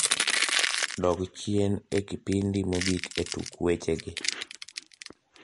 dog chien e kipindi mogik e tuk weche gi